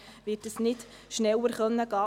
Leider wird das nicht schneller möglich sein.